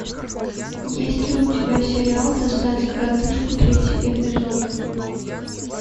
есть ли у тебя сериал достать коротышку третий эпизод